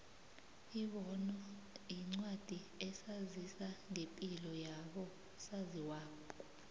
ibono yincwadi esazisa ngepilo yabo saziwayo